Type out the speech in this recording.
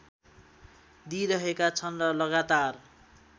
दिइरहेका छन् र लगातार